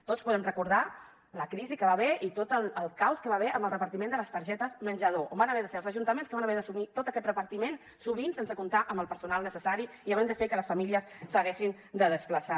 tots podem recordar la crisi que hi va haver i tot el caos que hi va haver amb el repartiment de les targetes menjador on van haver de ser els ajuntaments que van haver d’assumir tot aquest repartiment sovint sense comptar amb el personal necessari i havent de fer que les famílies s’haguessin de desplaçar